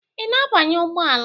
Ị na-abanye ụgbọ ala a?